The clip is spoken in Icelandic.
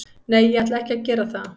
Nei, ég ætla ekki að gera það.